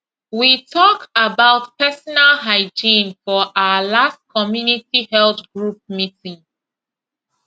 we talk about personal hygiene for our last community health group meeting